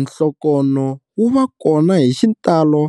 Nhlokonho wu va kona hi xitalo